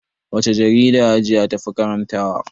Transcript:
Wacce jarida hajiya tafi karanta wa?